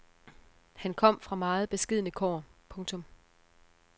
Han kom fra meget beskedne kår. punktum